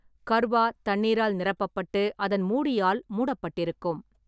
கர்வா தண்ணீரால் நிரப்பப்பட்டு அதன் மூடியால் மூடப்பட்டிருக்கும்.